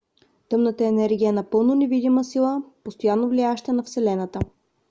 тъмната енергия е напълно невидима сила постоянно влияеща на вселената